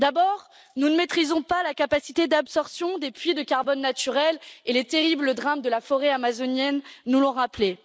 D'abord, nous ne maîtrisons pas la capacité d'absorption des puits de carbone naturels, les terribles drames de la forêt amazonienne nous l'ont rappelé.